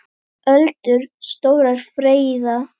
Öldur stórar freyða.